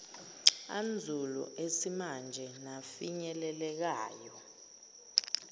anzulu esimanje nafinyelelekayo